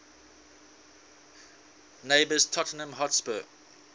neighbours tottenham hotspur